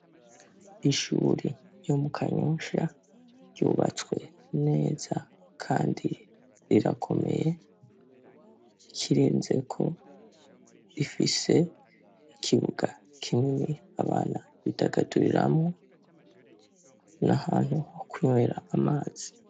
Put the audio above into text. Ishuri ryo mu Kanyosha ryubatswe neza kandi rirakomeye. Ikirenzeko, rifise ikibuga kinini abana bidagaduriramwo, n'ahantu ho kunywera amazi.